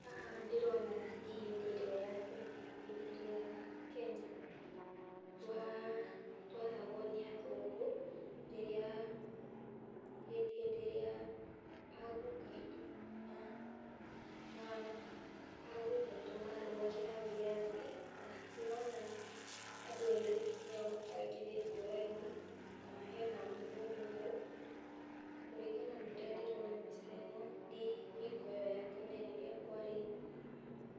Haha ndĩrona nĩ hĩndĩ ĩrĩa ya tene, hĩndĩ ĩrĩa Kenya twa twathagwo nĩ athũngũ, rĩrĩa, hĩndĩ ĩrĩa aguka aitũ na aguka aitũ marũagĩra wĩyathi , na ndĩrona andũ airũ nĩo mabangithĩtio raini, na hena mũthũngũ hau, na kũringana na ũrĩa ndĩrona mbica-inĩ ĩno, nĩ hingo ĩyo ya tene rĩrĩa kwarĩ,